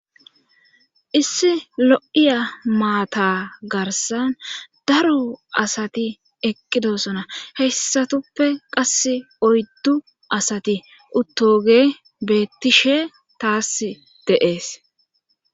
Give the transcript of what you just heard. issi lo7iya maata garsan daro asati eqqidosona heyssatuppe qass oyddu asati uttoge beettishe taas deees